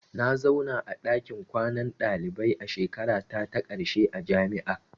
Na zauna a ɗakin kwanan dalibai a shekarata ta ƙarshe a jami'a.